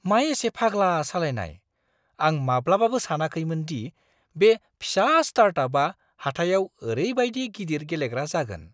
मा एसे फाग्ला सालायनाय! आं माब्लाबाबो सानाखैमोनदि बे फिसा स्टार्टआपआ हाथाइआव ओरैबायदि गिदिर गेलेग्रा जागोन।